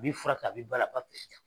A b'i fura kɛ a b'i bala a b'a